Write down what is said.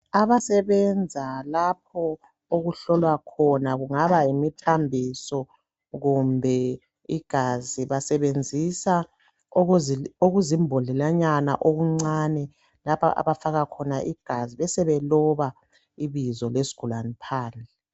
Abasbenza lapho okuhlolwa khona kungaba yimithambiso kumbe igazi basebenzisa okuzimbodlelanyana okuncane lapha abafaka khona igazi besebeloba ibizo lesigulane phandle.